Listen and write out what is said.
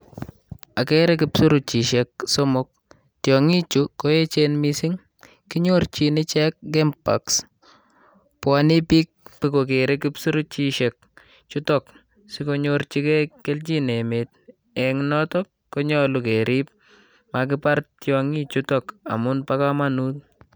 Akere kipsuruchishek somok. Tiong'ichu koechen mising, kinyorjin ichek game parks. Bwonei biik nyokokere kipsuruchishek chutok sikonyorjigei kelchin emeet. Eng notok konyolu keriib makibar tiong'ichutok amun bo komonut.